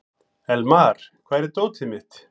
Elmar, hvar er dótið mitt?